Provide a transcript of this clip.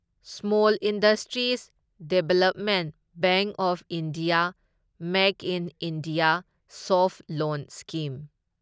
small industries development bank of India make in India soft loan scheme